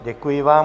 Děkuji vám.